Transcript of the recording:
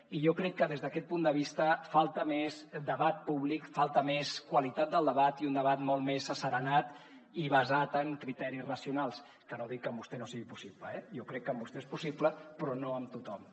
i jo crec que des d’aquest punt de vista falta més debat públic falta més qualitat del debat i un debat molt més asserenat i basat en criteris racionals que no dic que amb vostè no sigui possible eh jo crec que amb vostè és possible però no amb tothom